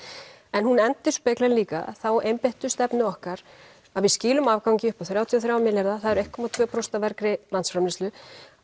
en hún endurspeglar líka þá einbeittu stefnu okkar að við skilum afgangi upp á þrjátíu og þrjá milljarða það eru einu komma tveimur prósentum af landsframleiðslu